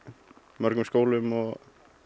mörgum skólum og